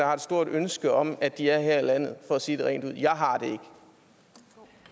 har et stort ønske om at de er her i landet for at sige det rent ud